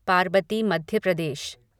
Parbati Madhya Pradesh